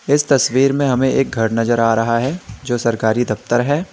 इस तस्वीर में हमें एक घर नजर आ रहा है जो सरकारी दफ्तर है।